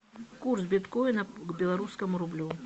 курс биткоина к белорусскому рублю